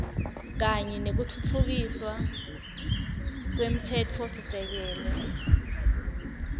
kanye nekutfutfukiswa kwemtsetfosisekelo